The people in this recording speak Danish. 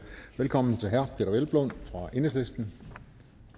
velkommen til herre peder hvelplund fra enhedslisten